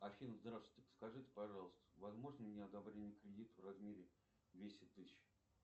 афина здравствуйте подскажите пожалуйста возможно мне одобрение кредита в размере двести тысяч